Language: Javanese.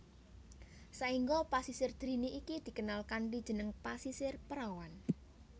Saengga Pasisir Drini iki dikenal kanthi jeneng Pasisir Perawan